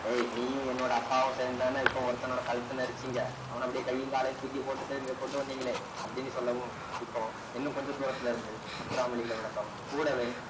ஏய் நீயும் என்னோட அப்பாவும் சேர்ந்துதானே இப்ப ஒருத்தனோட கழுத்தை நெருச்சீங்க அவனை அப்படியே கையும் காலையும் தூக்கிப் போட்டுட்டு இங்கே கொண்டு வந்தீங்களே அப்படின்னு சொல்லவும் இப்போ இன்னும் கொஞ்ச தூரத்திலே இருந்து முத்துராமலிங்கரோட sound கூடவே